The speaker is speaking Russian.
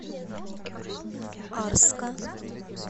арска